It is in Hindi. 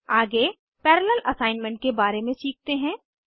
आगे पैरालेल असाइनमेंट के बारे में सीखते हैं